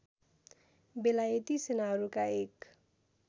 बेलायती सेनाहरूका एक